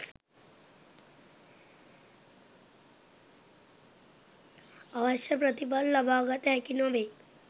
අවශ්‍ය ප්‍රතිඵල ලබාගත හැකි නොවෙයි.